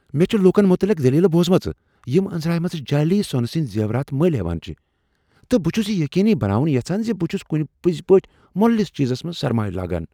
مےٚ چھ لوٗکن متعلق دٔلیٖلہٕ بوزمژٕ یم انزٲنی منز جعلی سونہٕ سندِ زیورات ملۍ ہیوان چھِ ،تہٕ بہٕ چھس یہِ یقینی بناوُن یژھان زِ بہٕ چھُس كُنہِ پٔزۍ پٲٹھۍ مۄلٕلِس چیزس منز سرمایہ لاگان ۔